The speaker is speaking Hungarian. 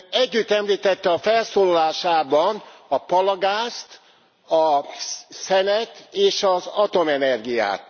Ön együtt említette a felszólalásában a palagázt, a szenet és az atomenergiát.